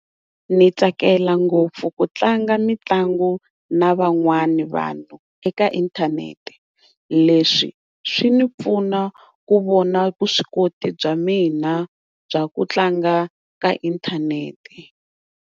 Ni tsakela ngopfu ku tlanga mitlangu na van'wana vanhu eka inthanete leswi swi ni pfuna ku vona vuswikoti bya mina bya ku tlanga eka inthanete.